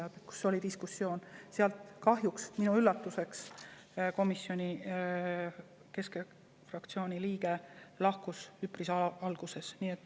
Seal oli diskussioon, aga sealt kahjuks minu üllatuseks keskfraktsiooni liige lahkus üpris alguses.